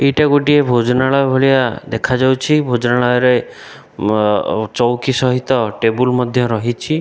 ଏଇଟା ଗୋଟିଏ ଭୋଜନାଳୟ ଭଳିଆ ଦେଖାଯାଉଛି ଭୋଜନାଳୟରେ ଅ ଚୌକି ସହିତ ଟେବୁଲ ମଧ୍ୟ ରହିଛି।